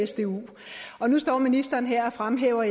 sdu og nu står ministeren her og fremhæver